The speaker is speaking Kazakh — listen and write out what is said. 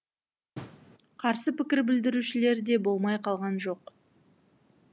қарсы пікір білдірушілер де болмай қалған жоқ